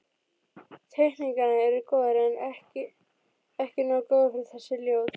Teikningarnar eru góðar, en ekki nógu góðar fyrir þessi ljóð.